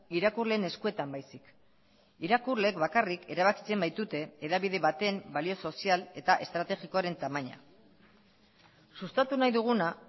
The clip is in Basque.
irakurleen eskuetan baizik irakurleek bakarrik erabakitzen baitute hedabide baten balio sozial eta estrategikoaren tamaina sustatu nahi duguna